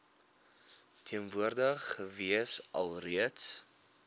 teenwoordig gewees alreeds